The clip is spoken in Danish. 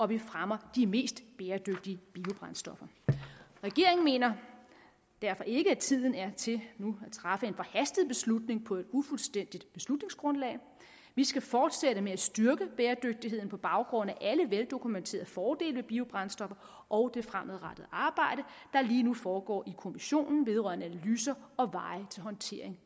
vi fremmer de mest bæredygtige biobrændstoffer regeringen mener derfor ikke at tiden er til nu at træffe en forhastet beslutning på et ufuldstændigt beslutningsgrundlag vi skal forsætte med at styrke bæredygtigheden på baggrund af alle veldokumenterede fordele ved biobrændstoffer og det fremadrettede arbejde der lige nu foregår i kommissionen vedrørende analyser og veje til håndtering